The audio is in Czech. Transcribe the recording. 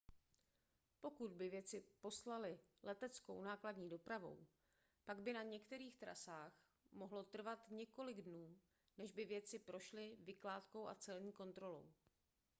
pokud by věci poslali leteckou nákladní dopravou pak by na některých trasách mohlo trvat několik dnů než by věci prošly vykládkou a celní kontrolou